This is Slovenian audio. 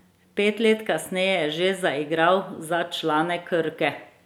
Pet let kasneje je že zaigral za člane Krke.